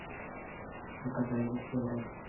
фото правительство рф